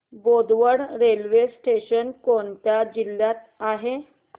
Bodwad railway station कोणत्या जिल्ह्यात आहे